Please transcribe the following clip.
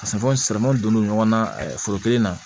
Ka se donnen ɲɔgɔn na foro kelen na